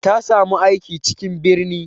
Ta samu aiki cikin birni.